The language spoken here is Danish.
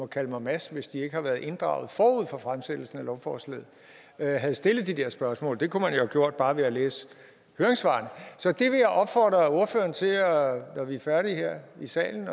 kalde mig mads hvis de ikke har været inddraget forud for fremsættelsen af lovforslaget havde stillet de her spørgsmål det kunne man jo have gjort bare ved at læse høringssvarene så jeg vil opfordre ordføreren til når vi er færdige her i salen